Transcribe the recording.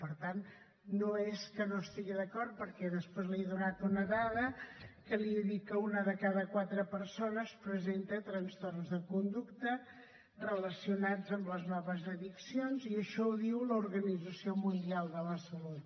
per tant no és que no hi estigui d’acord perquè després li he donat una dada que li he dit que una de cada quatre persones presenta trastorns de conducta relacionats amb les noves addiccions i això ho diu l’organització mundial de la salut